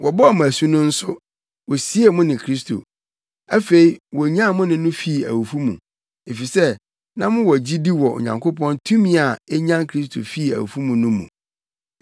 Wɔbɔɔ mo asu no nso, wosiee mo ne Kristo. Afei wonyan mo ne no fii awufo mu, efisɛ na mowɔ gyidi wɔ Onyankopɔn tumi a enyan Kristo fii awufo mu no mu.